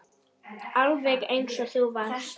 Alveg eins og þú varst.